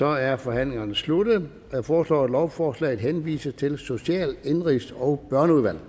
er forhandlingen sluttet jeg foreslår at lovforslaget henvises til social indenrigs og børneudvalget